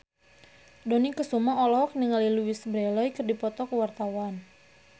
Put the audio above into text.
Dony Kesuma olohok ningali Louise Brealey keur diwawancara